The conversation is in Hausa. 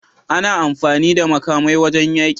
Ana amfani da makamai wajan yaƙi